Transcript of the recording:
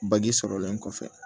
sɔrɔlen kɔfɛ